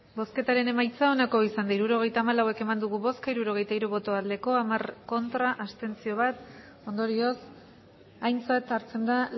hirurogeita hamalau eman dugu bozka hirurogeita hiru bai hamar ez bat abstentzio ondorioz aintzat hartzen da